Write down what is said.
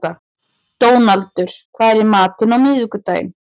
Dónaldur, hvað er í matinn á miðvikudaginn?